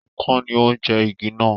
Ikán ni ó jẹ igi náà.